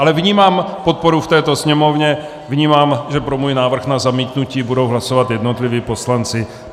Ale vnímám podporu v této Sněmovně, vnímám, že pro můj návrh na zamítnutí budou hlasovat jednotliví poslanci.